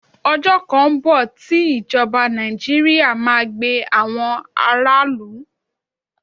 Ọjọ́ kan ń bọ̀ tí ìjọba Nàìjíríà máa gbe àwọn aráàlú.